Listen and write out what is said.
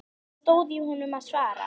Það stóð í honum að svara.